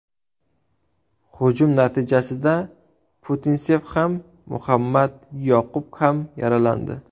Hujum natijasida Putinsev ham, Muhammad Yoqub ham yaralandi.